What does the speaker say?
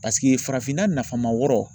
Paseke farafinna nafama wɔɔrɔ.